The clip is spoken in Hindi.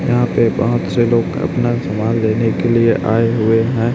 यहां पे बहोत से लोग अपना सामान लेने के लिए आए हुए हैं।